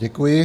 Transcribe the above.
Děkuji.